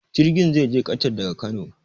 Jirgin zai je ƙatar daga Kano.